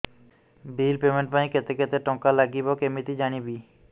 bill payment ପାଇଁ କେତେ କେତେ ଟଙ୍କା ଲାଗିବ କେମିତି ଜାଣିବି